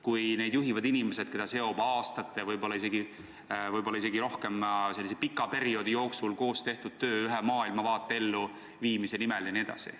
Kui neid juhivad inimesed, keda seob aastate, võib-olla isegi pikema perioodi jooksul koos tehtud töö ühe maailmavaate elluviimise nimel jne.